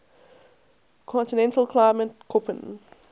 continental climate koppen